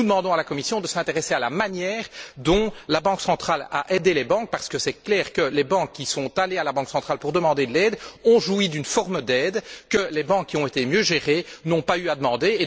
Ainsi, nous demandons à la Commission de s'intéresser à la manière dont la Banque centrale a aidé les banques, parce qu'il est clair que les banques qui sont allées à la Banque centrale pour demander de l'aide ont joui d'une forme d'aide que celles qui ont été mieux gérées n'ont pas eu à demander.